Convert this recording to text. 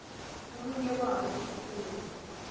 omunye wabo ephula